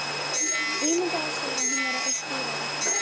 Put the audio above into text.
Ímyndaði sér að hún væri eitt dýrið á veggnum.